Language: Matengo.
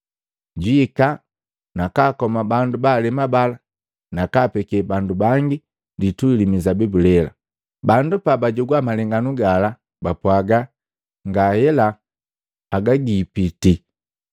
Jwiika na kaakoma bandu baalema bala, nakaapeke bandu bangi litui li mizabibu lela.” Bandu pabajogwa malenganu gala, bapwaga, “Ngahela, haga giipiti!”